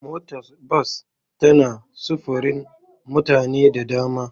Motar bas tana sufurin mutane da dama.